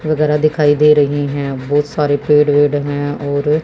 वगैरा दिखाई दे रहीं हैं बहोत सारे पेड़ वेड़ हैं और--